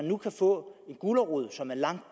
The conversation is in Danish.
nu kan få en gulerod som er langt